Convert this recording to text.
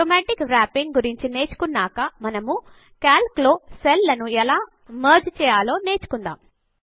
automatic wrapping automatic wrapping గురించి నేర్చుకున్నాక మనము కాల్క్ లో సెల్ లను ఎలా మెర్జ్ చేయాలో నేర్చుకుందాం